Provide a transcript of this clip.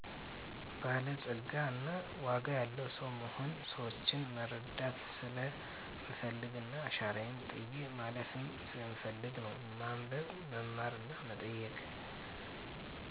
በላፀጋ እና ዋጋ ያለዉ ሰዉ መሆን። ሰወችን መረዳት ሰለምፈልግና አሻራየን ጥየ ማለፍም ስለምፈልግ ነው። ማንበብ; መማርና መጠየቅ